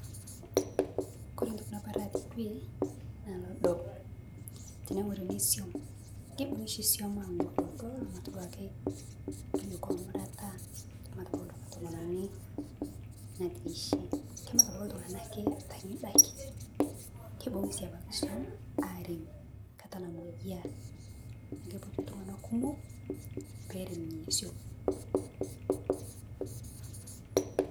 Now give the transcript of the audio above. Oore entoki naloito dukuya teene wueji naa olodo, teneng'oruni iswam olodo nemat iltung'anak ton'daiki. Keibung'i ebaiki iswam arem naa ekiretoki iltung'anak kumok peerem nena swam